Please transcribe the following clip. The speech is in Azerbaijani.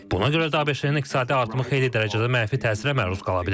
Buna görə də ABŞ-in iqtisadi artımı xeyli dərəcədə mənfi təsirə məruz qala bilər.